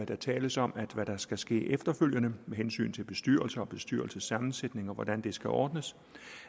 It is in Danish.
der tales om at hvad der skal ske efterfølgende med hensyn til bestyrelser og bestyrelsessammensætning og hvordan det skal ordnes